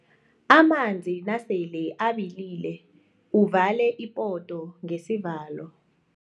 Amanzi nasele abilile uvale ipoto ngesivalo.